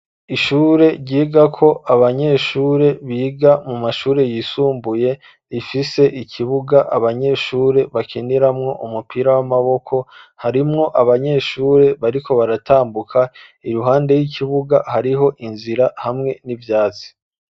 Ishure ryigako abanyeshure biga mu mashure yisumbuye, rifise ikibuga abanyeshure bakiniramwo umupira w'amaboko, harimwo abanyeshure bariko baratambuka, iruhande y'ikibuga hariho inzira hamwe n'ivyatsi.